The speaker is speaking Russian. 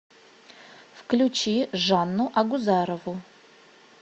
включи жанну агузарову